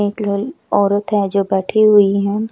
एक लो औरत हैं जो बैठी हुई हैं।